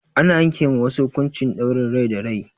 Ana yanke ma wasu hukuncin ɗaurin rai da rai.